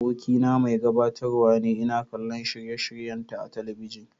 Abokina mai gabatarwa ne, ina kallon shirye-shiryenta a talabijin.